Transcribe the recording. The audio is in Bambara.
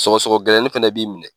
Sɔgɔsɔgɔ gɛlɛnnin fɛnɛ b'i minɛ.